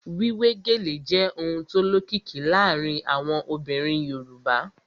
Wíwé gèlè jẹ́ ohun tó lókìkí láàárín àwọn obìnrin Yorùbá